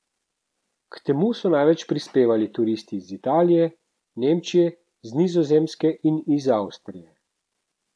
K temu so največ prispevali turisti iz Italije, Nemčije, z Nizozemske in iz Avstrije.